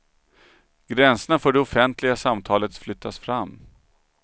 Gränserna för det offentliga samtalet flyttas fram.